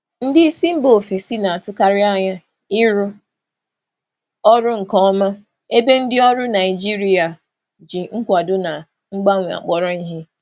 Ndị isi mba ofesi na-atụkarị anya ịrụ ọrụ nke ọma, ebe ndị ọrụ Naijiria ji nkwado na mgbanwe akpọrọ ihe.